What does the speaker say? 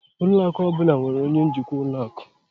Ụlọ akụ ọ bụla nwere onye njikwa ụlọ akụ.